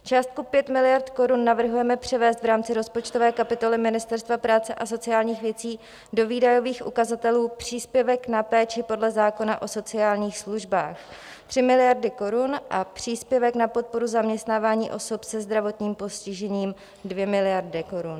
Částku 5 miliard korun navrhujeme převést v rámci rozpočtové kapitoly Ministerstva práce a sociálních věcí do výdajových ukazatelů Příspěvek na péči podle zákona o sociálních službách 3 miliardy korun a Příspěvek na podporu zaměstnávání osob se zdravotním postižením 2 miliardy korun.